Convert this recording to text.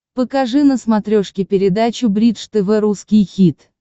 покажи на смотрешке передачу бридж тв русский хит